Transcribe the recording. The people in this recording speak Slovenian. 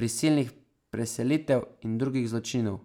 prisilnih preselitev in drugih zločinov.